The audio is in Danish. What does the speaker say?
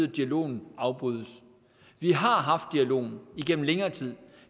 at dialogen afbrydes vi har haft dialogen igennem længere tid